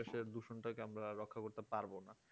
শেষে দূষণটা কে রক্ষা করতে পারবো না